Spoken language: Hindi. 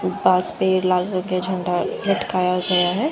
पास पेड़ लागा के झंडा लटकाया गया है।